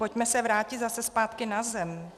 Pojďme se vrátit zase zpátky na zem.